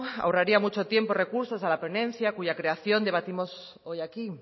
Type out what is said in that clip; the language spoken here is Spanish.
ahorraría mucho tiempo y recursos a la ponencia cuya creación debatimos hoy aquí